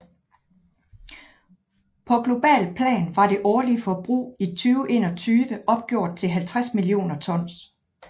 På globalt plan var det årlige forbrug i 2021 opgjort til 50 millioner tons